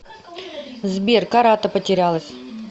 сбер карата потерялась